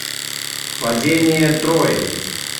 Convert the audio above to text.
падение трои